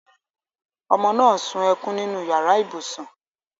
Omo náà sun ẹkùn nínú yàrá ibùsùn